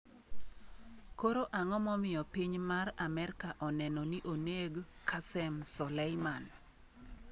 Koro ang'o momiyo piny Amerka oneno ni oneg Qasem Soleiman?